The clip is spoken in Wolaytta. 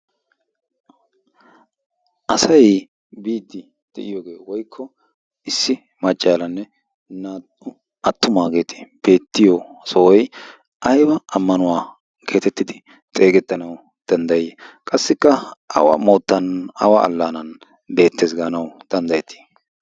asay biiddi de'iyoogee woikko issi maccaalanne naa''u attumaageeti beettiyo sohoy ayba ammanuwaa geetettidi xeegettanawu danddayii qassikka awa moottan awa allaanan beettees gaanawu danddayettii